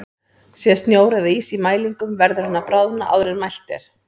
Sé snjór eða ís í mælinum verður hann að bráðna áður en mælt er.